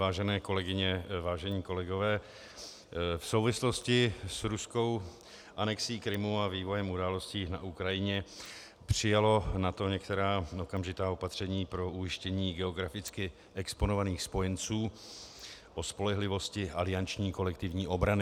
Vážené kolegyně, vážení kolegové, v souvislosti s ruskou anexí Krymu a vývojem událostí na Ukrajině přijalo NATO některá okamžitá opatření pro ujištění geograficky exponovaných spojenců o spolehlivosti alianční kolektivní obrany.